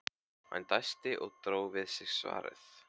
Hann dæsti og dró við sig svarið.